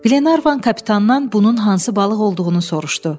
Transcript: Glenarvan kapitandan bunun hansı balıq olduğunu soruşdu.